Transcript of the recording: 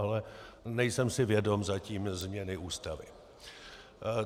Ale nejsem si vědom zatím změny Ústavy.